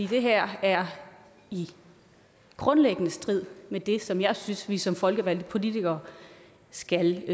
her er grundlæggende i strid med det som jeg synes vi som folkevalgte politikere skal